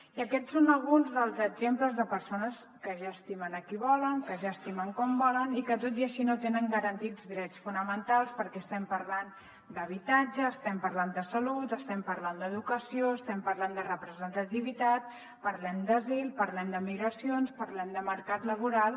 i aquests són alguns dels exemples de persones que ja estimen qui volen que ja estimen com volen i que tot i així no tenen garantits drets fonamentals perquè estem parlant d’habitatge estem parlant de salut estem parlant d’educació estem parlant de representativitat parlem d’asil parlem de migracions parlem de mercat laboral